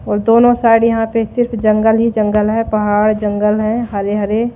और दोनों साइड यहां पे सिर्फ जंगल ही जंगल है पहाड़ जंगल है हरे हरे--